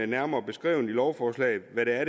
nærmere beskrevet i lovforslaget hvad der